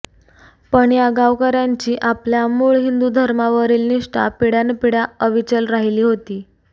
पण या गावकर्यांची आपल्या मूळ हिंदुधर्मावरील निष्ठा पिढ्यान् पिढ्या अविचल राहिली होती